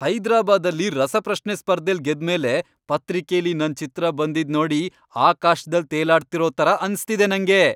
ಹೈದ್ರಾಬಾದಲ್ಲಿ ರಸಪ್ರಶ್ನೆ ಸ್ಪರ್ಧೆಲ್ ಗೆದ್ಮೇಲೆ ಪತ್ರಿಕೆಲಿ ನನ್ ಚಿತ್ರ ಬಂದಿದ್ ನೋಡಿ ಆಕಾಶ್ದಲ್ ತೇಲಾಡ್ತಿರೋ ಥರ ಅನ್ಸ್ತಿದೆ ನಂಗೆ.